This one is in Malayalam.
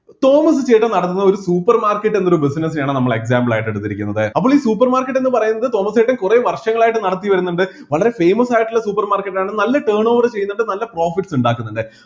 തോമസ് ചേട്ടൻ നടത്തുന്ന ഒരു supermarket എന്നൊരു business നെ ആണ് നമ്മൾ example ആയിട്ട് എടുത്തിരിക്കുന്നത് അപ്പോൾ ഈ supermarket എന്ന് പറയുന്നത് തോമസ് ചേട്ടൻ കുറെ വർഷങ്ങളായിട്ട് നടത്തിവരുന്നുണ്ട് വളരെ famous ആയിട്ടുള്ള supermarket ആണ് നല്ല turnover ചെയ്യുന്നുണ്ട് നല്ല profit ഇണ്ടാക്കുന്നുണ്ട്